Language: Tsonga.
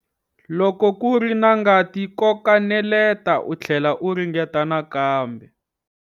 Loko ku ri na ngati koka neleta u tlhlela u ringeta nakambe.